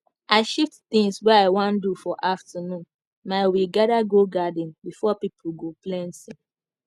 i shift things wey i wan do for afternoon my we gather go garden b4 pple go plenty